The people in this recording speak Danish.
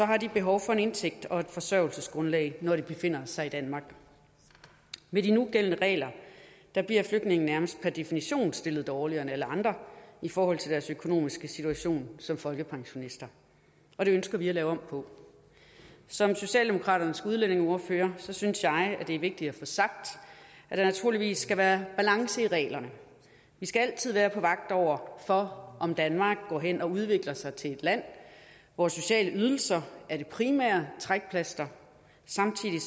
har de behov for en indtægt og et forsørgelsesgrundlag når de befinder sig i danmark med de nugældende regler bliver flygtninge nærmest per definition stillet dårligere end alle andre i forhold til deres økonomiske situation som folkepensionister og det ønsker vi at lave om på som socialdemokraternes udlændingeordfører synes jeg at det er vigtigt at få sagt at der naturligvis skal være balance i reglerne vi skal altid være på vagt over for om danmark går hen og udvikler sig til et land hvor sociale ydelser er det primære trækplaster samtidig